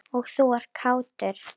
Og þú ert kátur.